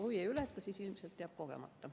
Kui ei ületa, siis ilmselt jääb kogemata.